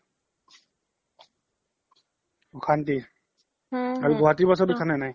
অখান্তি আৰু গুৱাহাতি bus ত উথা নে নাই